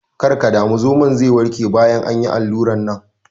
Kar ka damu, zomon ze warke bayan an yi allurar nan.